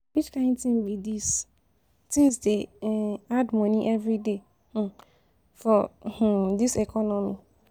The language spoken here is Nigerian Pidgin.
Which kain tin be dis, tins dey um add moni everyday for um for um dis economy.